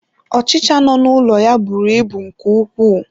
Ọchịcha no n'ụlọ ya bụrụ ịbụ nke ukwuu.